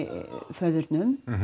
föðurnum